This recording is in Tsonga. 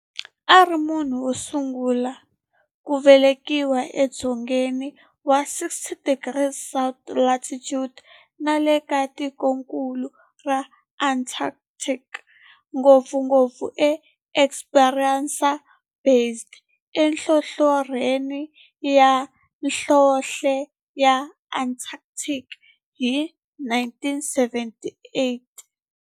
A ri munhu wosungula ku velekiwa e dzongeni wa 60 degrees south latitude nale ka tikonkulu ra Antarctic, ngopfungopfu eEsperanza Base enhlohlorhini ya nhlonhle ya Antarctic hi 1978.